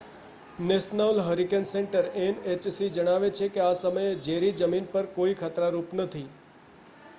national hurricane centre nhc જણાવે છે કે આ સમયે જેરી જમીન પર કોઈ ખતરારૂપ નથી